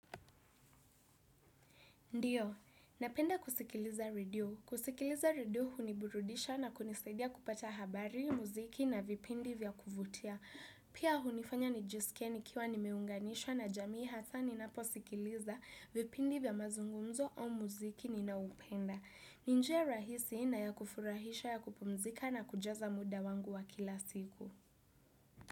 Ndiyo, napenda kusikiliza radio. Kusikiliza radio huniburudisha na kunisidia kupata habari, muziki na vipindi vya kuvutia. Pia hunifanya nijisikie ni kiwa nimeunganishwa na jamii hasa ni naposikiliza vipindi vya mazungumzo o muziki ninao upenda. Ni njia rahisi na ya kufurahisha ya kupumzika na kujaza muda wangu wa kila siku.